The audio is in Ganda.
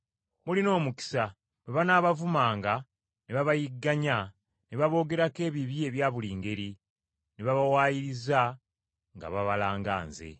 “Mulina omukisa mmwe, bwe banaabavumanga, ne babayigganya, ne baboogerako ebibi ebya buli ngeri, ne babawaayiriza, nga babalanga nze.